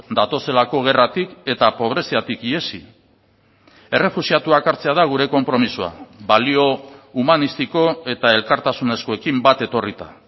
datozelako gerratik eta pobreziatik ihesi errefuxiatuak hartzea da gure konpromisoa balio humanistiko eta elkartasunezkoekin bat etorrita